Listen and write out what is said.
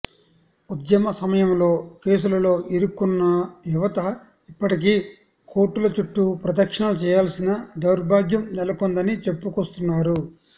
ఉద్యమ సమయంలో కేసులలో ఇరుక్కున్నయువత ఇప్పటికీ కోర్టుల చుట్టు ప్రదక్షిణలు చెయ్యాల్సిన దౌర్బాగ్యం నెలకొందని చెప్పుకొస్తున్నారు